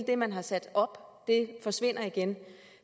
det man har sat op forsvinder igen